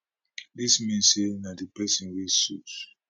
dis mean say na di prison wey suit